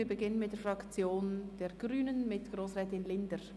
Wir beginnen mit der Fraktion der Grünen, mit Grossrätin Linder.